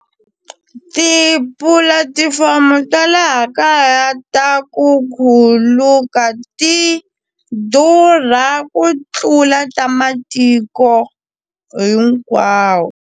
Tipulatifomo ta laha kaya ta ku khuluka ti durha ku tlula ta matiko hinkwawo.